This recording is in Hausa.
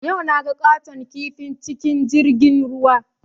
Yau naga ƙaton kifi cikin jirgin ruwa